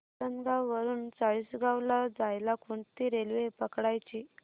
आसनगाव वरून चाळीसगाव ला जायला कोणती रेल्वे पकडायची